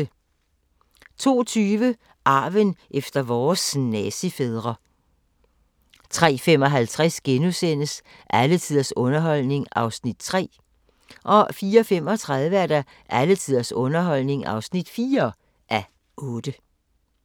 02:20: Arven efter vores nazifædre 03:55: Alle tiders underholdning (3:8)* 04:35: Alle tiders underholdning (4:8)